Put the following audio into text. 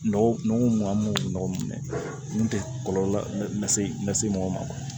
Nɔgɔ nɔgɔ man nɔgɔ mun tɛ kɔlɔlɔ lase lase mɔgɔ ma